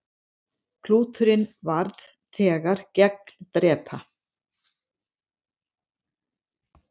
Klúturinn varð þegar gagndrepa.